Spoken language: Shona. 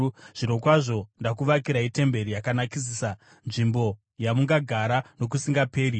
zvirokwazvo ndakuvakirai temberi yakanakisisa, nzvimbo yamungagara nokusingaperi.”